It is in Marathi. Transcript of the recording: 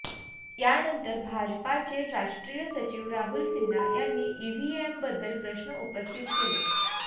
यानंतर भाजपाचे राष्ट्रीय सचिव राहुल सिन्हा यांनी ईव्हीएमबद्दल प्रश्न उपस्थित केले